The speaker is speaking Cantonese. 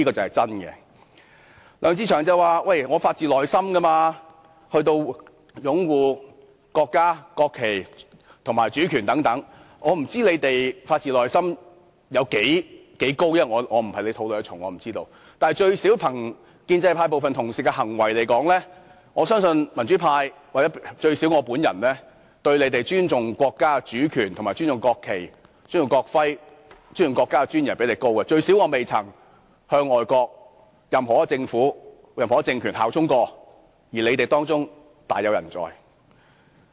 梁志祥議員說他是發自內心地擁護國家、國旗和主權等，我不清楚他有多發自內心，我並非他們肚內的蟲，我不會知道，但最少從建制派部分同事的行為看來，我相信民主派，或最少我本人，尊重國家主權、尊重國旗、尊重國徽，以及尊重國家尊嚴的程度也較他們高，最低限度我未曾向外國任何一個政府或政權效忠，而他們當中卻大有人在。